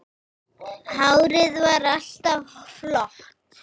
Hárið var alltaf flott.